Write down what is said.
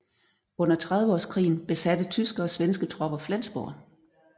Under Trediveårskrigen besatte tyske og svenske tropper Flensborg